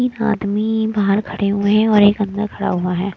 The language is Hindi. एक आदमी बाहर खड़े हुए हैं और एक अंदर खड़ा हुआ है।